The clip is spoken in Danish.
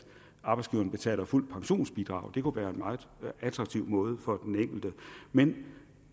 arbejdsgiveren betaler fuldt pensionsbidrag det kunne være en meget attraktiv måde for den enkelte men